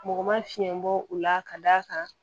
Mɔgɔ ma fiɲɛ bɔ u la ka d'a kan